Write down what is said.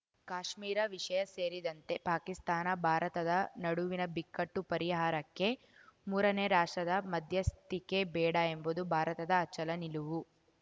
ಕಾಶ್ಮೀರ ವಿಷಯ ಸೇರಿದಂತೆ ಪಾಕಿಸ್ತಾನ ಭಾರತದ ನಡುವಿನ ಬಿಕ್ಕಟ್ಟು ಪರಿಹಾರಕ್ಕೆ ಮೂರನೇ ರಾಷ್ಟ್ರದ ಮಧ್ಯಸ್ಥಿಕೆ ಬೇಡ ಎಂಬುದು ಭಾರತದ ಅಚಲ ನಿಲುವು